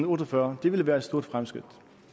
otte og fyrre ville være et stort fremskridt